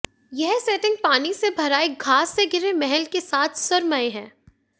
यह सेटिंग पानी से भरा एक घास से घिरे महल के साथ सुरम्य है